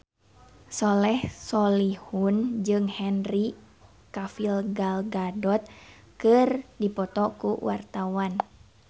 Soleh Solihun jeung Henry Cavill Gal Gadot keur dipoto ku wartawan